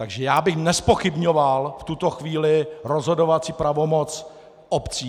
Takže já bych nezpochybňoval v tuto chvíli rozhodovací pravomoc obcí.